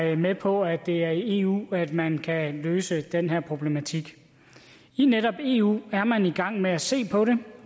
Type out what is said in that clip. er med på at det er i eu at man kan løse den her problematik i netop eu er man i gang med at se på det